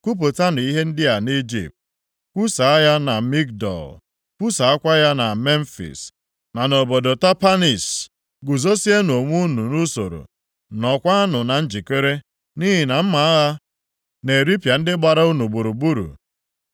“Kwupụtanụ ihe ndị a nʼIjipt. Kwusaa ya na Migdol. Kwusaakwa ya na Memfis, na nʼobodo Tapanhis. Guzozienụ onwe unu nʼusoro, nọọkwanụ na njikere, nʼihi na mma agha na-eripịa ndị gbara unu gburugburu.